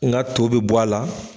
N ga to be bɔ a la